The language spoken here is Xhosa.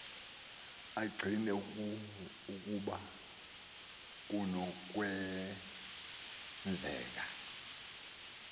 acina ukuba kunokwenzeka